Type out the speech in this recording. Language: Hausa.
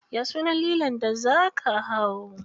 Ya sunan lilon da za ka hau?